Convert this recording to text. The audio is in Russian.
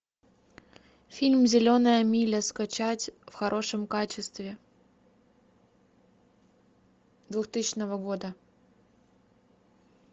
фильм зеленая миля скачать в хорошем качестве двухтысячного года